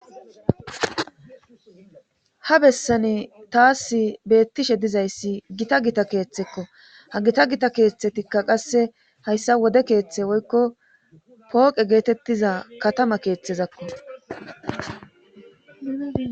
ha bessani taas beettishe dizayssi gita gita keeththekko ha gita gita keeththetikka qasse hayssa wode keeththe woykko pooqe geetettiza katama keeththezakko